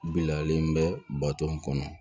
Bilalen bɛ bato kɔnɔ